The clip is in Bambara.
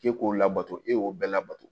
K'e k'o labato e y'o bɛɛ labato